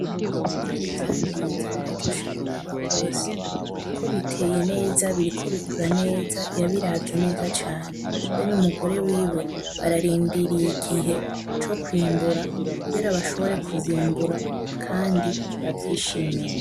Ibigori vya Ndinze biraryoshe kuraba gose kuko biteye neza biriko bikura neza yabiravye neza cane be n'umugore wiwe bararindiriye igihe co kw'imbura kugira bashobore kuvyimbura kandi bavyishimire.